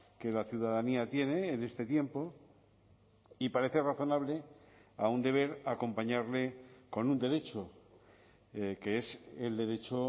que la ciudadanía tiene en este tiempo y parece razonable a un deber acompañarle con un derecho que es el derecho